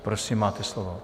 Prosím máte slovo.